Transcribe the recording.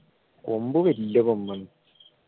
കൊമ്പ് വെല്ല കൊമ്പാണ്